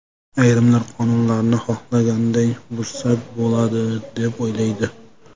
Ayrimlari qonunlarni xohlaganday buzsa bo‘ladi deb, o‘ylaydi.